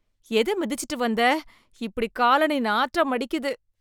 எதை மிதிச்சிட்டு வந்த இப்படி காலனி நாற்றம் அடிக்குது